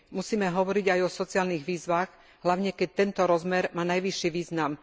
Musíme hovoriť aj o sociálnych výzvach, hlavne keď tento rozmer má najvyšší význam.